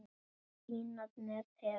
Spínat með perum